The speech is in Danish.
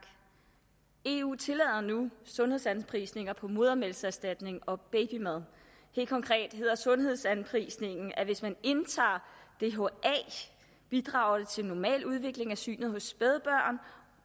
eu tillader nu sundhedsanprisninger på modermælkserstatning og babymad helt konkret hedder sundhedsanprisningen at hvis man indtager dha bidrager det til normal udvikling af synet hos spædbørn